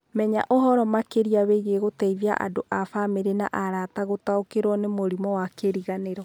Menya ũhoro makĩria wĩgiĩ gũteithia andũ a bamirĩ na arata gũtaũkĩrwo nĩ mũrimũ wa kĩriganĩro.